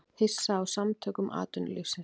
Hissa á Samtökum atvinnulífsins